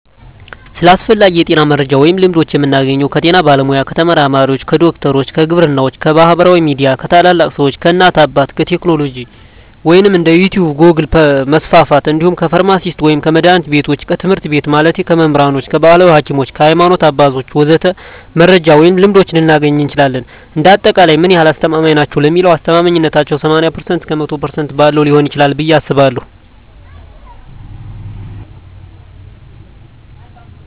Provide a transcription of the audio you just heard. ስለ አስፈላጊ የጤና መረጃ ወይም ልምዶች የምናገኘው ከጤና ባለሙያ፣ ከተመራማሪዎች፣ ከዶክተሮች፣ ከግብርናዎች፣ ከማህበራዊ ሚዲያ፣ ከታላላቅ ሰዎች፣ ከእናት አባት፣ ከቴክኖሎጂ ወይም እንደ ዩቲቭ ጎግል% መስፍፍት እንዲሁም ከፍርማሲስቶች ወይም ከመድሀኒት ቢቶች፣ ከትምህርት ቤት ማለቴ ከመምህራኖች፣ ከባህላዊ ሀኪሞች፣ ከሀይማኖት አባቶች ወዘተ..... መረጃ ወይም ልምዶች ልናገኝ እንችላለን። እንደ አጠቃላይ ምን ያህል አስተማማኝ ናቸው ለሚለው አስተማማኝነታው ከ80% እስከ 100% ባለው ሊሆን ይችላል ብየ አስባለሁ።